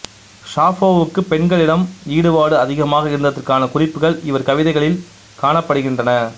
சாஃபோவுக்கு பெண்களிடம் ஈடுபாடு அதிகமாக இருந்ததற்கான குறிப்புகள் இவர் கவிதைகளில் காணப்படுகின்றன